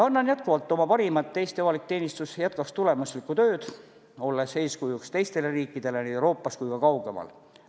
Annan jätkuvalt oma parima, et Eesti avalik teenistus jätkaks tulemuslikku tööd, olles eeskujuks teistele riikidele nii Euroopas kui ka kaugemal.